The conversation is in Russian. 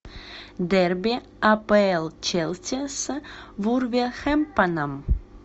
дерби апл челси с вулверхэмптоном